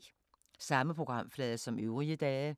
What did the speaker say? Samme programflade som øvrige dage